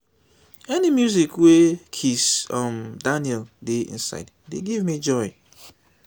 any music wey kizz um daniel dey inside dey give me joy